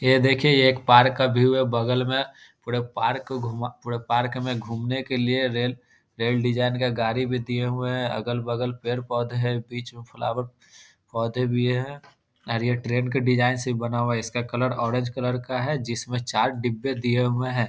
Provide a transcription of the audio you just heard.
ये देखिए ये एक पार्क का व्यू है बगल में पूरे पार्क को घूमा पूरे पार्क में घूमने के लिए रेल रेल डिजाइन का गाड़ी भी दिए हुए हैं अगल-बगल पेड़-पौधे हैं बीच मे फ्लावर पौधे भी हैं और ये ट्रेन के डिजाइन से बना हुआ है इसका कलर ऑरेंज कलर का है जिसमें चार डिब्बे दिये हुए हैं।